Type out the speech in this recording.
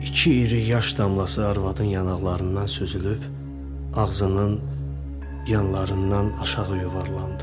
İki iri yaş damlası arvadın yanaqlarından süzülüb ağzının yanlarından aşağı yuvarlandı.